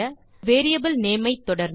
நாம் the variable name ஐ தொடர்ந்து